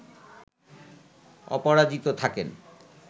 অপরাজিত থাকেন